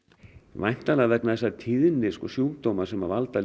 væntanlega vegna þess að tíðni sjúkdóma sem valda